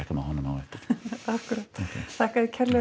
með honum á eftir akkúrat þakka þér kærlega